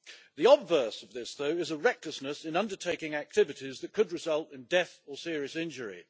The obverse of this though is a recklessness in undertaking activities that could result in death or serious injury.